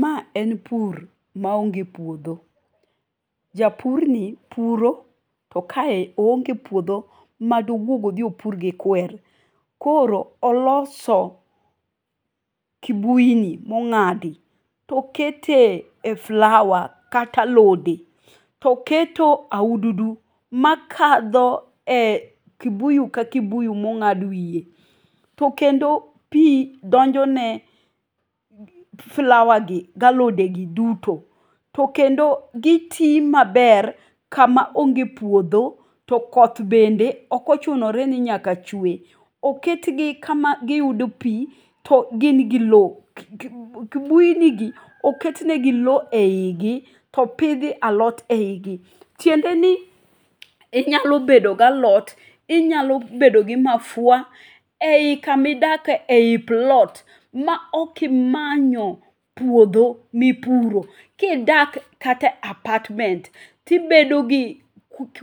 Ma en pur ma onge puodho. Japurni puro tokaye oonge puodho madowuog odhi opur gi kwer. Koro oloso kibuini mong'adi tokete e flower kata alode toketo aududu makadho e kibuyu ka bibuyu mong'ad wiye. To kendo pii donjone flowergi ga alodegi duto tokendo gi tii maber kama onge puodho to koth bende okochunore ni nyaka chwe. Oketgi kama giyude pii to gin gi loo. Kibuinigi oketenegi loo eyigi to opidh alot eyigi. Tiendeni inyalo bedo galot inyalo bedo gi mafua eyi kama idake eyi plot ma ok imanyo puodho mipuro. Kidak kata e apartment tibedogi